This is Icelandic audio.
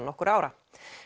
nokkurra ára